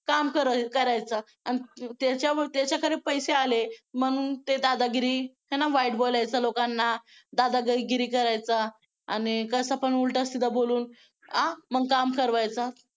काम करायचं आणि त्याच्याकडे पैसे आले म्हणून ते दादागिरी आहे ना वाईट बोलायचं लोकांना दादागिरी करायचा आणि कसं पण उलटा सिधा बोलून आ मग काम करवायचा.